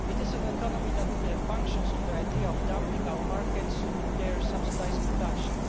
It is an economy that functions on the idea of flooding our markets with their subsidised production.